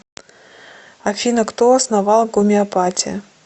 афина кто основал гомеопатия